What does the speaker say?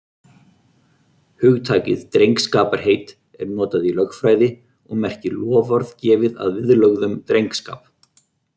Hugtakið drengskaparheit er notað í lögfræði og merkir loforð gefið að viðlögðum drengskap.